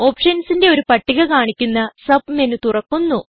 Optionsന്റെ ഒരു പട്ടിക കാണിക്കുന്ന സബ്മെന് തുറക്കുന്നു